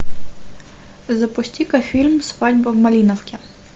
запусти ка фильм свадьба в малиновке